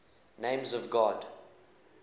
names of god